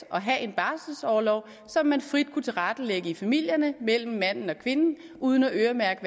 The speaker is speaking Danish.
at have en barselsorlov som man frit kunne tilrettelægge i familierne mellem manden og kvinden uden at øremærke